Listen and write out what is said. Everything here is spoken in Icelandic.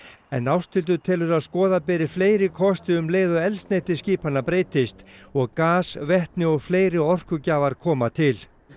en Ásthildur telur að skoða beri fleiri kosti um leið og eldsneyti skipanna breytist og gas vetni og fleiri orkugjafar koma til